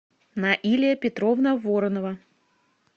наилия петровна воронова